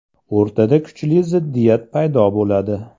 O‘rtada kuchli ziddiyat paydo bo‘ladi.